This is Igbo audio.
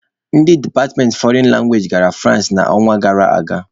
Ndị departmentị fọrịn langwaeji gara Fụransị n'ọnwa gara aga.